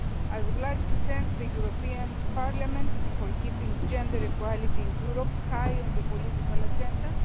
I would like to thank the European Parliament for keeping gender equality in Europe high on the political agenda.